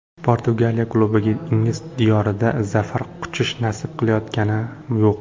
Portugaliya klubiga ingliz diyorida zafar quchish nasib qilayotgani yo‘q.